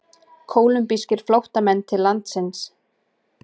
Kólumbískir flóttamenn til landsins